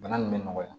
Bana nin bɛ nɔgɔya